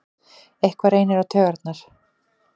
Eitthvað reynir á taugarnar